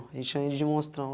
A gente chama ele de monstrão.